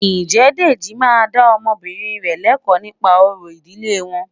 Ǹjẹ́ Dèjì máa dá ọmọbìnrin rẹ lẹ́kọ̀ọ́ nípa orò ìdílé wọn?